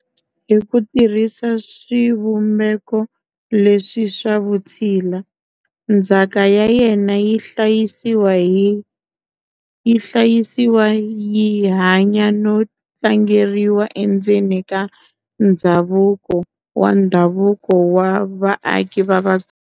Hi ku tirhisa swivumbeko leswi swa vutshila, ndzhaka ya yena yi hlayisiwa yi hanya no tlangeriwa endzeni ka ndzhavuko wa ndhavuko wa vaaki va Vatsonga.